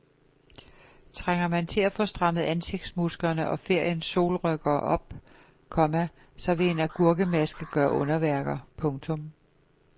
Trænger man til at få strammet ansigtsmusklerne og feriens solrynker op, komma så vil en agurkemaske gøre underværker. punktum